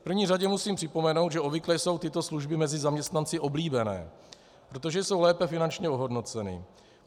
V první řadě musím připomenout, že obvykle jsou tyto služby mezi zaměstnanci oblíbené, protože jsou lépe finančně ohodnoceny.